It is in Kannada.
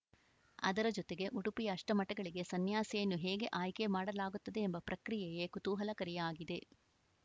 ಅದರ ಜೊತೆಗೆ ಉಡುಪಿಯ ಅಷ್ಟಮಠಗಳಿಗೆ ಸನ್ಯಾಸಿಯನ್ನು ಹೇಗೆ ಆಯ್ಕೆ ಮಾಡಲಾಗುತ್ತದೆ ಎಂಬ ಪ್ರಕ್ರಿಯೆಯೇ ಕುತೂಹಲಕಾರಿಯಾಗಿದೆ